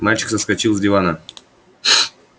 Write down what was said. мальчик соскочил с дивана